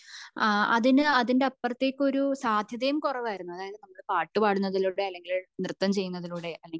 അഹ് അതിന്റെ അപ്പുറത്തേക്ക് ഒരു സാധ്യതായും കുറവായിരുന്നു അതായത് നമ്മൾ പാട്ടുപാടുന്നത്തിലൂടെ അല്ലെങ്കിൽ നൃത്തം ചെയ്യുന്നതിലൂടെ അല്ലെങ്കിൽ